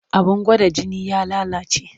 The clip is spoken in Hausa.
Abin gwada jini ya lalace.